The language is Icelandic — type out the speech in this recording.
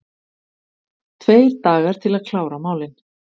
Tveir dagar til að klára málin